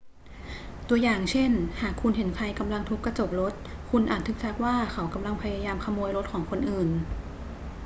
ตัวอย่างเช่น หากคุณเห็นใครกำลังทุบกระจกรถ คุณอาจทึกทักว่าเขากำลังพยายามขโมยรถของคนอื่น